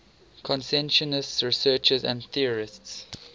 consciousness researchers and theorists